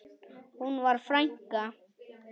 Hún var frænka.